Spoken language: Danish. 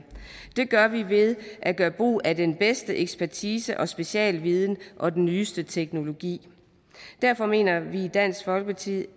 det gør vi ved at gøre brug af den bedste ekspertise og specialviden og den nyeste teknologi derfor mener vi i dansk folkeparti